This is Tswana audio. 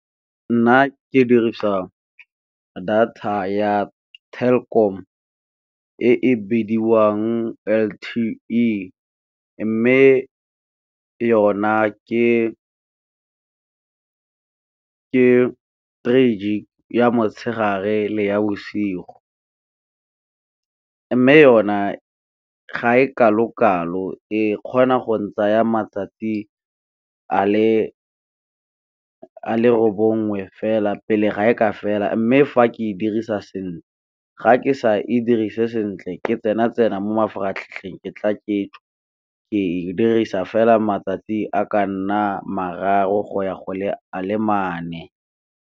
Nna ke dirisa data ya Telkom e e bidiwang L_T_E, mme yona three gig ya motshegare le ya bosigo. Mme yona ga e kalo-kalo e kgona go ntsaya matsatsi a le bongwe fela pele ga e ka fela, mme fa ke e dirisa sentle ga ke sa e dirise sentle ke tsena tsena mo mafaratlhatlheng ke tla ke tswa, ke e di dirisa fela matsatsi a ka nna mararo go ya go a le mane.